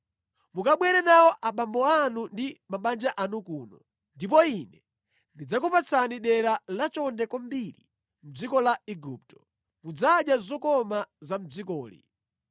Mukabwere nawo abambo anu ndi mabanja anu kuno, ndipo ine ndidzakupatsani dera lachonde kwambiri mʼdziko la Igupto. Mudzadya zokoma za mʼdzikoli.’ ”